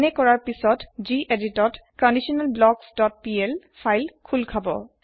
এনে কৰাৰ পাছত গেদিত ত conditionalblocksপিএল ফাইল খুল খাব